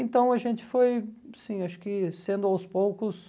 Então, a gente foi, sim, acho que sendo aos poucos...